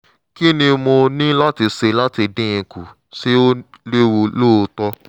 kí ni mo ní láti ṣe láti dín in kù? ṣé ó léwu lóòótọ́?